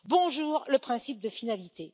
Bonjour le principe de finalité!